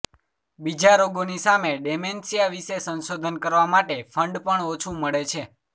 બીજા રોગોની સામે ડેમેન્શિયા વિશે સંશોધન કરવા માટે ફંડ પણ ઓછું મળે છે